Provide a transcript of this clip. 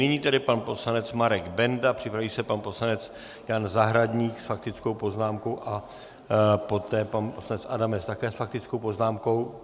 Nyní tedy pan poslanec Marek Benda, připraví se pan poslanec Jan Zahradník s faktickou poznámkou a poté pan poslanec Adamec také s faktickou poznámkou.